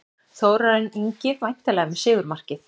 Þórarinn Ingi væntanlega með sigurmarkið.